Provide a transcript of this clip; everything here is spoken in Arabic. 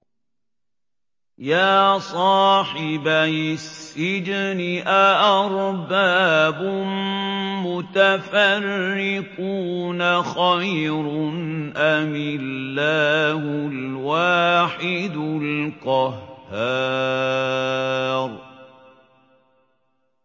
يَا صَاحِبَيِ السِّجْنِ أَأَرْبَابٌ مُّتَفَرِّقُونَ خَيْرٌ أَمِ اللَّهُ الْوَاحِدُ الْقَهَّارُ